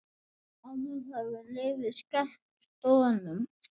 Áður hafði liðið skellt Dönum.